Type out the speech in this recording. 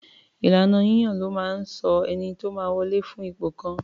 Ìlànà yíyàn ló máa ń sọ ènìyàn tó máa wọlè fún ipò kan.